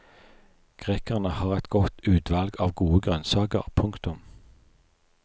Grekerne har et godt utvalg av gode grønnsaker. punktum